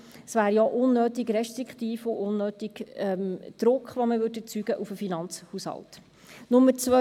Das wäre ja unnötig restriktiv und unnötiger Druck, den man auf den Finanzhaushalt erzeugen würde.